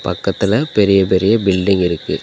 பக்கத்துல பெரிய பெரிய பில்டிங் இருக்கு.